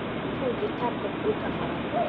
Tuji tabka Guud afraad